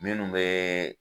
Minnu bɛ